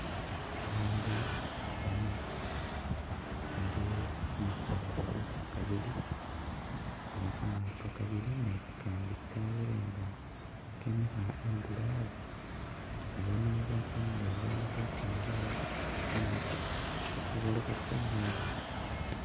Abandu bane bali khumakhongolo gabili oba gamaato gabili ne gagandi gabelenga gemika handulo awo nebano bafanile baali khukhwingila mumetsi batse balobe tsingeni